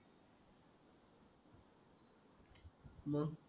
hello